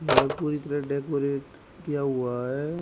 ये पूरी तरह डेकोरेट किया हुआ है।